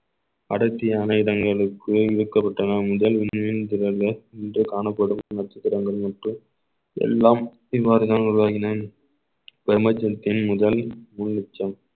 அடர்த்திய ஆயுதங்களுக்கு விற்கப்பட்டன முதல் இன்று காணப்படும் நட்சத்திரங்களுக்கு எல்லாம் பின்மாருதல் உருவாகின முதல்